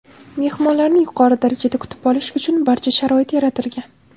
Mehmonlarni yuqori darajada kutib olish uchun barcha sharoit yaratilgan.